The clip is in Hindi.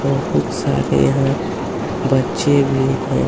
बहुत सारे यहाँ बच्चे भी हैं।